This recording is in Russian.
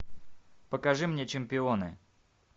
покажи мне чемпионы